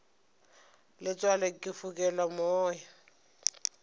letswalo ke fokelwa ke moya